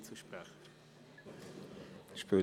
– Er hat sich als Einzelsprecher gemeldet.